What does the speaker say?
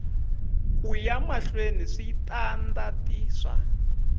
ku ya mahlweni switandati swa